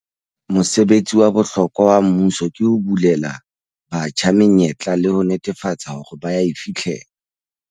Mosebetsi wa bohlokwa wa mmuso ke ho bulela batjha menyetla le ho netefatsa hore ba a e fihlella.